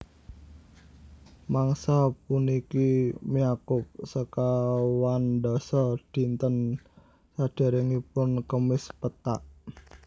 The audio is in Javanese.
Mangsa puniki nyakup sekawandasa dinten sadèrèngipun Kemis Pethak